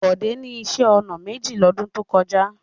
Bọ̀dé ní iṣẹ́-ọnà méjì lọ́dún tó kọjá.